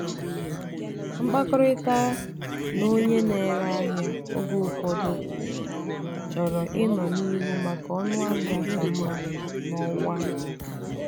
mkpakọrịta na onye na-ere ahịa ahịa oge ụfọdụ chọrọ ịnọ n'ihu maka ọnụahịa ka mma n'ọwa ikuku.